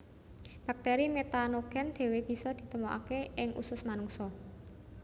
Bakteri metanogen dewe bisa ditemokake ing usus manungsa